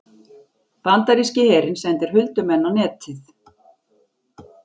Bandaríski herinn sendir huldumenn á Netið